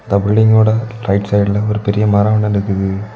இந்த பில்டிங் ஓட ரைட் சைடுல ஒரு மரோ ஒன்னு நிக்குது.